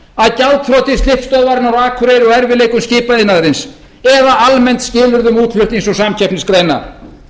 að gjaldþroti slippstöðvarinnar á akureyri og erfiðleikum skipaiðnaðarins eða almennt skilyrðum útflutnings og samkeppnisgreina